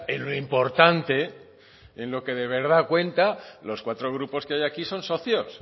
en lo importante en lo que de verdad cuenta los cuatro grupos que hay aquí son socios